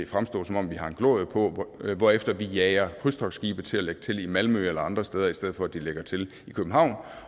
fremstå som om vi har en glorie på hvorefter vi jager krydstogtskibe til at lægge til i malmø eller andre steder i stedet for at de lægger til i københavn